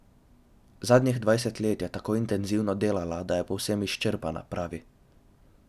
Zadnjih dvajset let je tako intenzivno delala, da je povsem izčrpana, pravi.